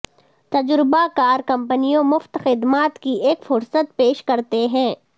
تجربہ کار کمپنیوں مفت خدمات کی ایک فہرست پیش کرتے ہیں